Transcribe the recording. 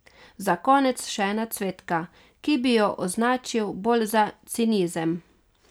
Za konec še ena cvetka, ki bi jo označil bolj za cinizem.